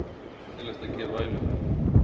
Hvað er leiðinlegast að gera á æfingum?